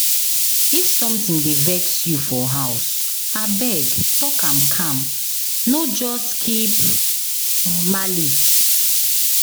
If something dey vex you for house, abeg talk am calm, no just keep malice.